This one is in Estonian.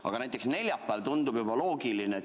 Aga näiteks neljapäeval tundub vaba mikrofon loogiline.